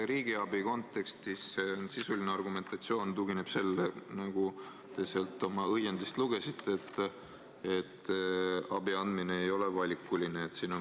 Riigiabi kontekstis sisuline argumentatsioon tugineb sellele, nagu te sealt oma õiendist lugesite, et abi andmine ei ole valikuline.